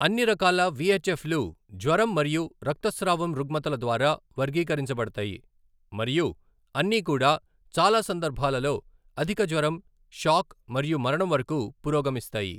అన్ని రకాల విఎచ్ఎఫ్ లు జ్వరం మరియు రక్తస్రావం రుగ్మతల ద్వారా వర్గీకరించబడతాయి మరియు అన్నీకూడా చాలా సందర్భాలలో అధిక జ్వరం, షాక్ మరియు మరణం వరకు పురోగమిస్తాయి.